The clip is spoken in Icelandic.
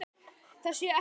Það sé ekkert að.